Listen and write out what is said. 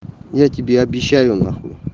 я тебе обещаю на хуй